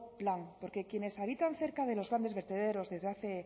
plan porque quienes habitan cerca de los grandes vertederos desde hace